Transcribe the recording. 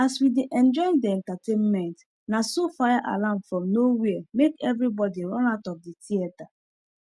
as we dey enjoy the entertainment na so fire alarm from no where make everybody run out of the theater